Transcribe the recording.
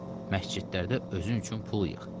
Məscidlərdə özün üçün pul yığ.